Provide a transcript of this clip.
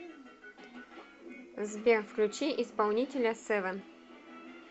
сбер включи исполнителя севен